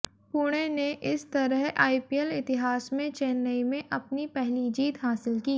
पुणे ने इस तरह आईपीएल इतिहास में चेन्नई में अपनी पहली जीत हासिल की